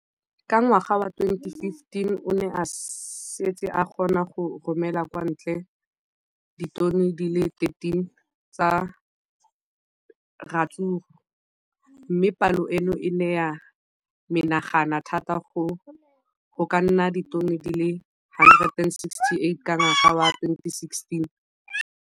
Ka ngwaga wa 2015, o ne a setse a kgona go romela kwa ntle ditone di le 31 tsa ratsuru mme palo eno e ne ya menagana thata go ka nna ditone di le 168 ka ngwaga wa 2016.